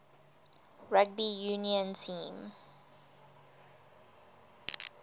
rugby union team